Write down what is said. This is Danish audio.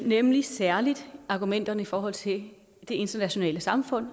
nemlig særlig argumenterne i forhold til det internationale samfund